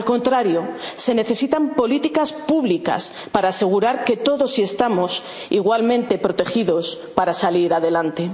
aún mayor. Al contrario, se necesitan políticas públicas para asegurar que todos estamos igualmente protegidos para salir